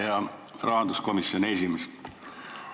Hea rahanduskomisjoni esimees!